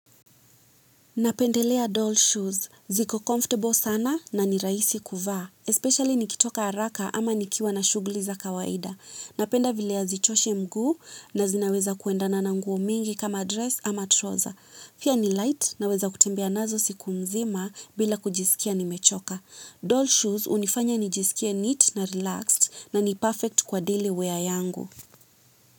Napendelea doll shoes. Ziko comfortable sana na ni rahisi kuvaa. Especially nikitoka haraka ama nikiwa na shuguli za kawaida. Napenda vile hazichoshi mguu na zinaweza kuendana na nguo mingi kama dress ama trouser pia ni light naweza kutembea nazo siku mzima bila kujisikia nimechoka. Doll shoes unifanya nijisikie neat na relaxed na ni perfect kwa daily wear yangu.